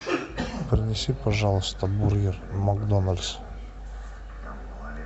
принеси пожалуйста бургер макдональдс